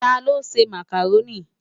Tá ló nsé Mákároni?